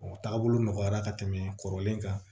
O taabolo nɔgɔyara ka tɛmɛ kɔrɔlen kan